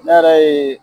Ne yɛrɛ ye